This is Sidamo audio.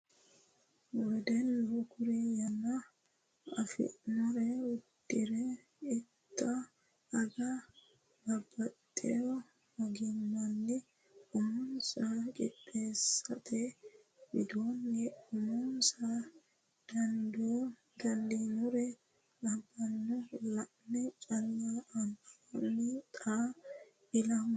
Wedellu kuri yanna affinore uddira itta aga babbaxewo ogimanni umonsa qiixeesaate widooni uminsa dando noore labbanoe la'ne calla anfanni xaa ilama jawaante.